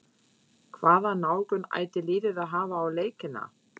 Hvaða nálgun ætti liðið að hafa á leikina?